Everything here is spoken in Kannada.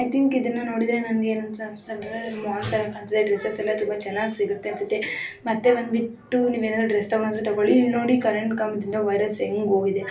ಐ ಥಿಂಕ್ ಇದನ್ನು ನೋಡಿದರೆ ನನಗೆ ಏನು ಅಂತ ಅನಿಸ್ತಾ ಇದೆ ಅಂದ್ರೆ ಮಾಲ್ ತರ ಕಾಣ್ತಿದೆ ಡ್ರಸಸ್ ಎಲ್ಲ ತುಂಬಾ ಚೆನ್ನಾಗಿ ಸಿಗುತ್ತೆ ಅನ್ಸುತ್ತೆ ಮತ್ತೆ ಬಂದು ಬಿಟ್ಟು ನೀವು ಏನಾರು ಡ್ರೆಸ್ ತಗೋಣಾದಿದ್ರೆ ತಗೊಳ್ಳಿ ನೋಡಿ ಕರೆಂಟ್ ಕಂಬದಿಂದ ವೈರಸ್ ಎಂಗ್ ಹೋಗಿದೆ.